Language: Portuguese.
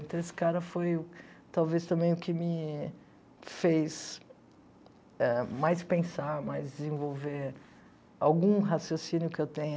Então, esse cara foi talvez também o que me fez ah mais pensar, mais desenvolver algum raciocínio que eu tenha.